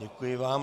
Děkuji vám.